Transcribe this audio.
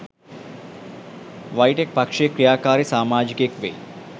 වයිටෙක් පක්ෂයේ ක්‍රියාකාරී සාමාජිකයෙක් වෙයි